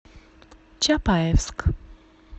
чапаевск